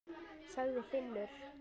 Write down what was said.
sagði Finnur.